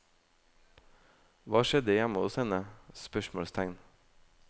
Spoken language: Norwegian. Hva skjedde hjemme hos henne? spørsmålstegn